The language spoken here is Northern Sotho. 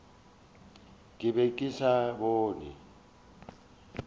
ke be ke sa bone